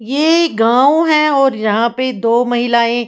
ये गांव है और यहां पे दो महिलाएं--